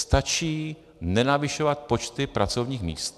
Stačí nenavyšovat počty pracovních míst.